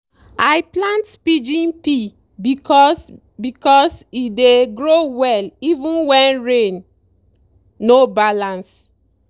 i plant pigeon pea because because e dey grow well even when rain no balance.